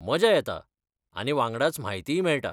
मजा येता आनी वांगडाच म्हायतीय मेळटा.